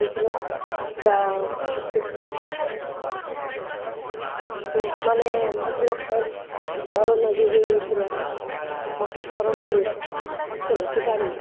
ନା। ଯାହା ହୁଁ ହୁଁ ମାନେ ମୁଁକଣ? corona ବା ହେଇଯାଇଥିଲା ବା? ମତେ ହେଇ ଲୋ ହୁଁ ସତେରେବେ ତୁ ଜାଣିନୁ?